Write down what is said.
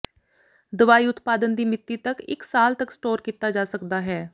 ਦਵਾਈ ਉਤਪਾਦਨ ਦੀ ਮਿਤੀ ਤੱਕ ਇੱਕ ਸਾਲ ਤੱਕ ਸਟੋਰ ਕੀਤਾ ਜਾ ਸਕਦਾ ਹੈ